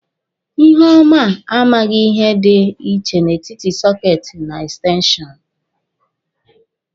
Iheọma a maghị ihe dị iche n'etiti sọketi na ekstenshọnụ.